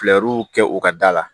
kɛ u ka da la